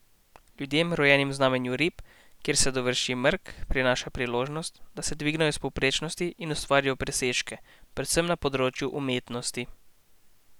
Ljudem, rojenim v znamenju rib, kjer se dovrši mrk, prinaša priložnost, da se dvignejo iz povprečnosti in ustvarijo presežke, predvsem na področju umetnosti.